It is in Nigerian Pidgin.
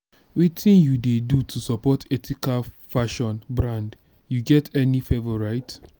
wetin you dey do to support ethical fashion brand you get any favorite?